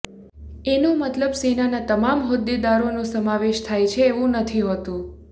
એનો મતલબ સેનાના તમામ હોદ્દેદારોનો સમાવેશ થાય છે એવું નથી હોતું